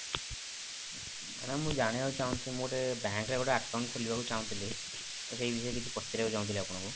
madam ମୁଁ ଜାଣିବାକୁ ଚାହୁଁଛି ମୁଁ ଗୋଟେ bank ରେ ଗୋଟେ account ଖୋଲିବାକୁ ଚାହୁଁଥିଲି ତ ସେଇ ବିଷୟରେ କିଛି ପଚାରିବାକୁ ଚାହୁଁଥିଲି ଆପଣଙ୍କୁ